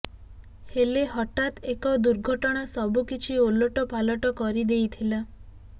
ହେଲେ ହଠାତ୍ ଏକ ଦୁର୍ଘଟଣା ସବୁକିଛି ଓଲଟ ପାଲଟ କରିଦେଇଥିଲା